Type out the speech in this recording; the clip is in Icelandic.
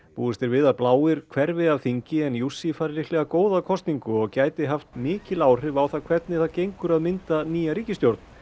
búist er við að bláir hverfi af þingi en fær líklega góða kosningu og gæti haft mikil áhrif á það hvernig það gengur að mynda nýja ríkisstjórn